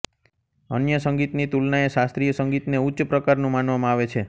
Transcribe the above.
અન્ય સંગીતની તુલનાએ શાસ્ત્રીય સંગીતને ઊચ્ચ પ્રકારનું માનવામાં આવે છે